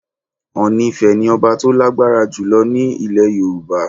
Ọọ̀ni Ifẹ̀ ni ọba tó lágbára jù lọ ní ilẹ̀ Yorùbá.